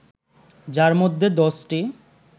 যার মধ্যে দশটি